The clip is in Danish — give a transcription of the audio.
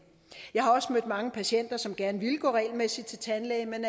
jeg har også mødt mange patienter som gerne ville gå regelmæssigt til tandlæge men